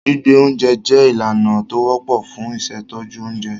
Gbígbẹ oúnjẹ jẹ́ ìlànà tó wọ́pọ̀ fun ìṣètọ́jú oúnjẹ.